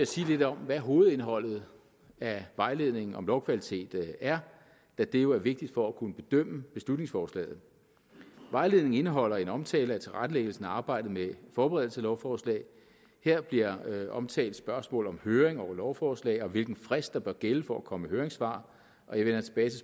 sige lidt om hvad hovedindholdet af vejledningen om lovkvalitet er da det jo er vigtigt for at kunne bedømme beslutningsforslaget vejledningen indeholder en omtale af tilrettelæggelsen af arbejdet med forberedelse af lovforslag her bliver omtalt spørgsmål om høring over lovforslag og om hvilken frist der bør gælde for at komme med høringssvar og jeg vender tilbage til